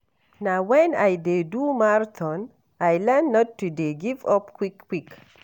Na wen I dey do marathon I learn not to dey give-up quick-quick.